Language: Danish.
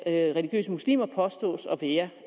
af religiøse muslimer påstås